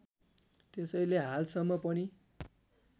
त्यसैले हालसम्म पनि